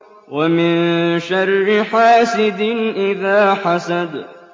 وَمِن شَرِّ حَاسِدٍ إِذَا حَسَدَ